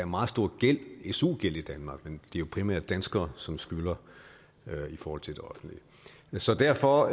meget stor su gæld i danmark men det er jo primært danskere som skylder i forhold til det offentlige så derfor